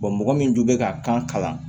mɔgɔ min dun bɛ ka kan kalan